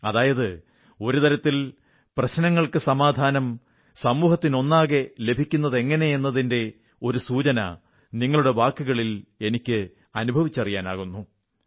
അതായത് ഒരു തരത്തിൽ പ്രശ്നങ്ങൾക്കു സമാധാനം സമൂഹത്തിനൊന്നാകെ ലഭിക്കുന്നതെങ്ങനെയെന്നതിന്റെ ഒരു സൂചന നിങ്ങളുടെ വാക്കുകളിൽ എനിക്ക് അനുഭവിച്ചറിയാനാകുന്നു